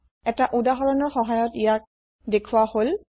এটা উদাহৰণৰ সহায়ত ইয়াক দেখোওৱা হল